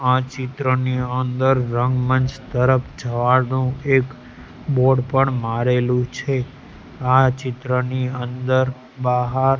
આ ચિત્રની અંદર રંગમંચ તરફ જવાનું એક બોર્ડ પણ મારેલુ છે આ ચિત્રની અંદર-બહાર --